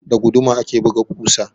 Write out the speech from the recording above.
Da guduma ake buga ƙusa.